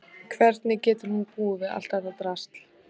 Hvernig getur hún búið við allt þetta drasl?